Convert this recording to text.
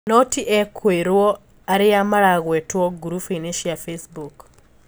No ti ekũirwo aria maragwetwo ngurubu-ini cia Facebook.